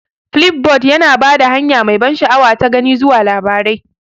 Flipboard yana ba da hanya mai ban sha'awa ta gani zuwa labarai.